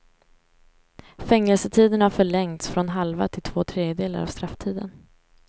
Fängelsetiden har förlängts från halva till två tredjedelar av strafftiden.